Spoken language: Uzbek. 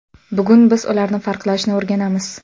Bugun biz ularni farqlashni o‘rganamiz.